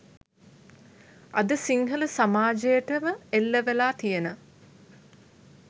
අද සිංහල සමාජයටම එල්ලවෙලා තියෙන